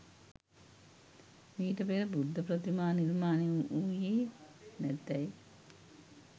මීට පෙර බුද්ධ ප්‍රතිමා නිර්මාණය වූයේ නැතැයි